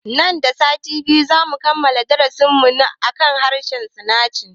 Nan da sati biyu zamu kammala darasin mu akan harshen sinanci